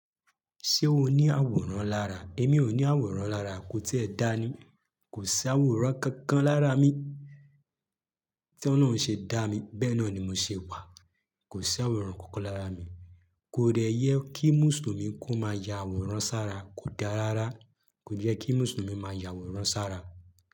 Ṣé o ní àwòrán lára? Èmi ò ní àwòrán lára. Ko tíe dáa ni. Kò sí àwòrán kankan lára mi tí Ọlọ́run ṣe dá mi. Bẹ́ẹ̀ náà ni mo ṣe wà. Kò sí àwòrán kankan lára mi. Kò dẹyẹ kí Mùsùlùmí kó máa ya àwòrán sára. Kò dáa rárá. Kò jẹ́ kí Mùsùlùmí máa ya àwòrán sára.